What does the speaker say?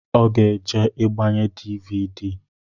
Ọ ga eje igbanye dịvịdị?